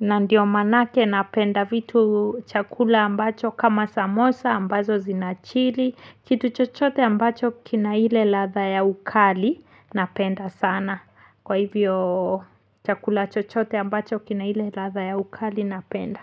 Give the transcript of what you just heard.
na ndiyo manake napenda vitu chakula ambacho kama samosa ambazo zinachili, kitu chochote ambacho kina ile ladha ya ukali napenda sana. Kwa hivyo chakula chochote ambacho kinahile latha ya ukali napenda.